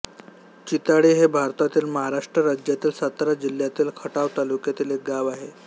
चिताळी हे भारतातील महाराष्ट्र राज्यातील सातारा जिल्ह्यातील खटाव तालुक्यातील एक गाव आहे